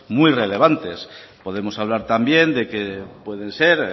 muy relevantes podemos hablar también de que pueden ser